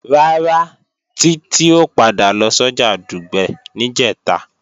Rárá, Títí ò padà lọ sọ́jà Dùgbẹ̀ níjẹ̀ta